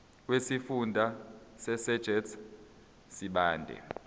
wesifunda sasegert sibande